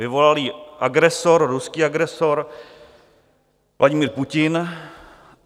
Vyvolal ji agresor, ruský agresor Vladimir Putin.